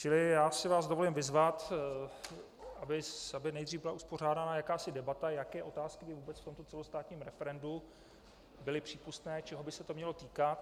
Čili já si vás dovolím vyzvat, aby nejdřív byla uspořádána jakási debata, jaké otázky by vůbec v tomto celostátním referendu byly přípustné, čeho by se to mělo týkat.